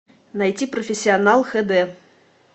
найти профессионал хд